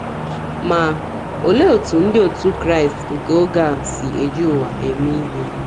Ma, olee etú ndị otú Kraịst nke oge a si eji ụwa eme ihe?